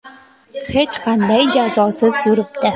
Hech qanday jazosiz yuribdi.